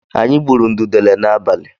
Anyị gbụrụ ududele n'abalị.